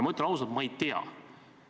Ma ütlen ausalt: ma ei tea.